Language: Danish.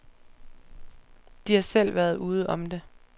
De har selv været ude om det.